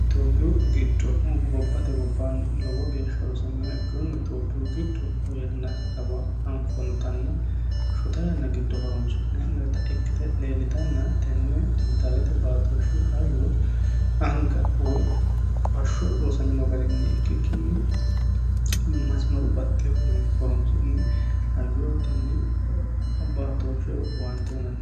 itiophiyu giddo gobbate gobbaanni lowo geeshsha rosameha ikkinonna itiyophiyu giddo yannaaa kawa anfoonitanna shota yanna giddo horonsi'nanni hee'nonita ikkite leellitanna tenne dijitaalete baatooshshu hayyoo anga woy bashsho rosamino garinni ikkikkinni masimaru baxxeehuni horonsi'ne hayyo tenni baatooshshe woy owaante uyiinanni.